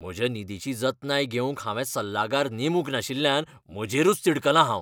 म्हज्या निधीची जतनाय घेवंक हांवें सल्लागार नेमूंक नाशिल्ल्यान म्हजेरूच तिडकलां हांव.